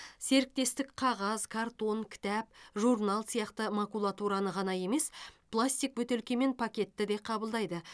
серіктестік қағаз картон кітап журнал сияқты макулатураны ғана емес пластик бөтелке мен пакетті де қабылдайды